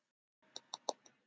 Hún undirbýr nú málsókn.